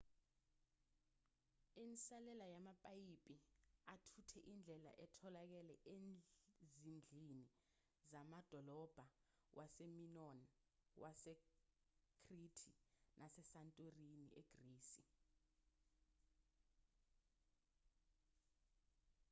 insalela yamapayipi athutha indle itholakele ezindlini zamadolobha wase-minoan wasekhrithi nase-santorini egrisi